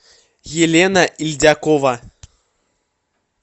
елена ильдякова